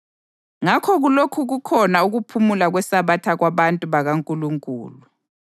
Ngakho kulokhu kukhona ukuphumula kweSabatha kwabantu bakaNkulunkulu;